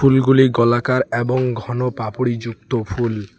ফুলগুলি গলাকার এবং ঘন পাপড়িযুক্ত ফুল।